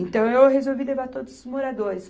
Então eu resolvi levar todos os moradores.